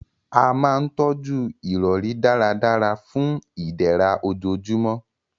A máa n tọ́jú ìrọ̀rí dáradára fun ìdẹ̀ra ojoojúmọ́